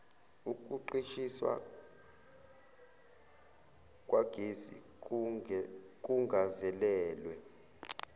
ukuqishiswa kwagesi kungazelelwe